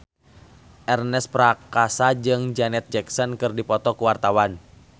Ernest Prakasa jeung Janet Jackson keur dipoto ku wartawan